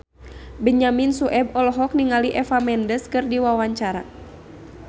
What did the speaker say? Benyamin Sueb olohok ningali Eva Mendes keur diwawancara